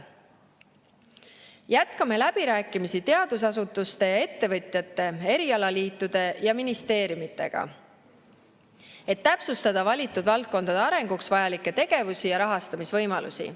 Jätkame läbirääkimisi teadusasutuste ja ettevõtjate, erialaliitude ja ministeeriumidega, et täpsustada valitud valdkondade arenguks vajalikke tegevusi ja rahastamisvõimalusi.